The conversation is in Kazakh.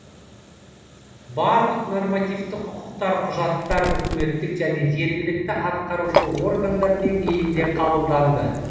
барлық нормативті құқықтық құжаттар үкіметтік және жергілікті атқарушы органдар деңгейінде қабылданды